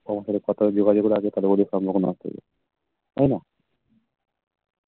তোমার সাথে কথা যোগাযোগ রাখলে তাহলে বোধ হয় সম্পর্ক নষ্ট হয়ে যাবে তাই না